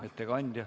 Ettekandja.